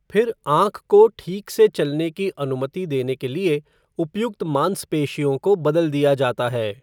फिर आँख को ठीक से चलने की अनुमति देने के लिए उपयुक्त माँसपेशियों को बदल दिया जाता है।